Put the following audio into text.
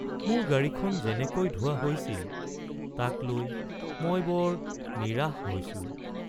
মোৰ গাড়ীখন যেনেকৈ ধোৱা হৈছিল তাক লৈ মই বৰ নিৰাশ হৈছোঁ।